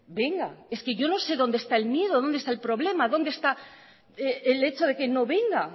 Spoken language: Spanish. venga es que yo no sé dónde está el miedo dónde está el problema dónde está el hecho de que no venga